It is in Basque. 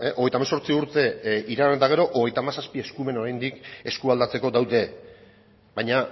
hogeita hemezortzi urte iragan eta gero hogeita hamazazpi eskumen oraindik eskualdatzeko daude baina